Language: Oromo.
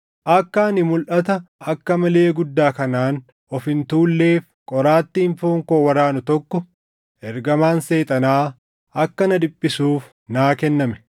akka ani mulʼata akka malee guddaa kanaan of hin tuulleef qoraattiin foon koo waraanu tokko, ergamaan Seexanaa akka na dhiphisuuf naa kenname.